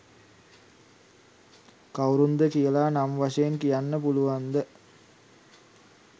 කවුරුන්ද කියලා නම් වශයෙන් කියන්න පුළුවන්ද?